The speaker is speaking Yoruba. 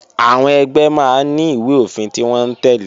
Àwọn ẹgbẹ́ máa ní ìwé-òfin tí wọ́n ń tẹ́lẹ̀